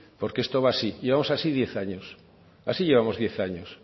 porque esto va así llevamos así diez años así llevamos diez años